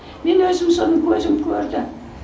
мен өзім соны көзім көрді